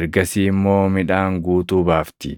ergasii immoo midhaan guutuu baafti.